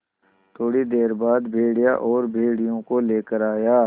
थोड़ी देर बाद भेड़िया और भेड़ियों को लेकर आया